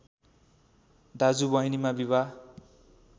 दाजु बहिनीमा विवाह